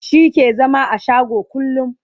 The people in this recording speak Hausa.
shi ke zama a shago kullum